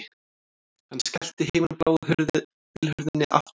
Hann skellti himinbláu bílhurðinni aftur